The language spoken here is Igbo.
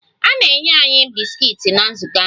A na-enye anyị bisikiiti na nzukọ ahụ.